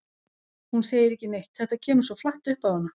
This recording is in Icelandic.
Hún segir ekki neitt, þetta kemur svo flatt upp á hana.